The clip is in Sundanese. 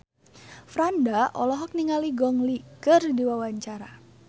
Franda olohok ningali Gong Li keur diwawancara